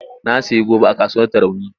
Na sayi goba a kasuwar Tarauni.